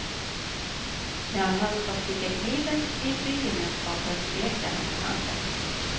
När han ska sticka kniven i bygemenskapen tvekar han på handen.